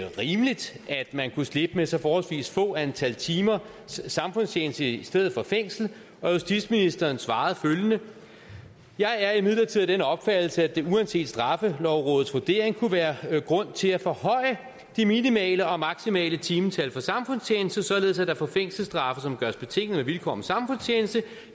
rimeligt at man kunne slippe med så forholdsvis få antal timer samfundstjeneste i stedet for fængsel og justitsministeren svarede følgende jeg er imidlertid af den opfattelse at der uanset straffelovrådets vurdering kunne være grund til at forhøje de minimale og maksimale timetal for samfundstjeneste således at der for fængselsstraffe som gøres betingede med vilkår om samfundstjeneste